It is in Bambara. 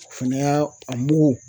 O fɛnɛ ya a mugu